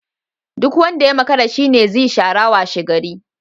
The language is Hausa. Duk wanda ya makara shi ne zi shara washegari.